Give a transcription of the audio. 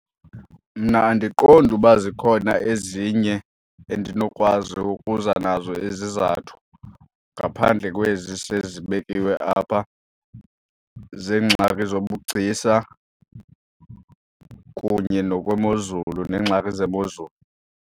Mna andiqondi uba zikhona ezinye endinokwazi ukuza nazo izizathu ngaphandle kwezi sezibekiwe apha zeengxaki zobugcisa kunye nokwemozulu, neengxaki zemozulu.